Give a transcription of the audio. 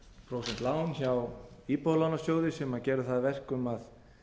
prósent lán hjá íbúðalánasjóði sem gerði það að verkum að